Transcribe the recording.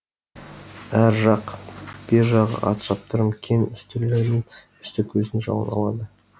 әр жақ бер жағы ат шаптырым кең үстелдердің үсті көздің жауын алады